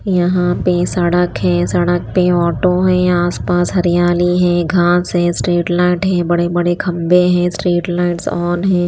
यहाँ पे सड़क है सड़क पे ऑटो है आस पास हरियाली है घास है स्ट्रिट लाईट हैं बड़े बड़े खम्बे हैं स्ट्रिट लाईट ओन हैं।